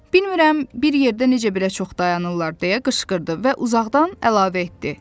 Bilmərəm bir yerdə necə belə çox dayanırlar, deyə qışqırdı və uzaqdan əlavə etdi.